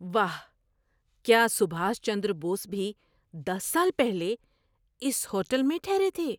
واہ! کیا سبھاش چندر بوس بھی دس سال پہلے اس ہوٹل میں ٹھہرے تھے؟